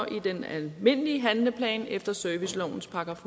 i den almindelige handleplan efter servicelovens §